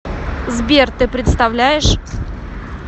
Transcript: сбер ты представляешь